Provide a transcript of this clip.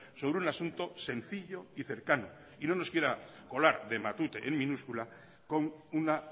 sobre un asunto sencillo y cercano y no nos quiera colar de matute en minúscula con una